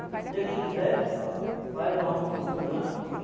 Se Deus quiser, nós vamos funcionar.